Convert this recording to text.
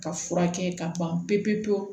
Ka furakɛ ka ban pewu-pewu-pewu